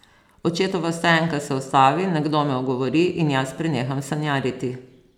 Očetova stoenka se ustavi, nekdo me ogovori in jaz preneham sanjariti.